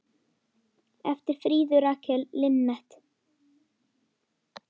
eftir Fríðu Rakel Linnet